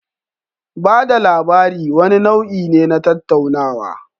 Ba da labari wani nau'i ne na tattaunawa.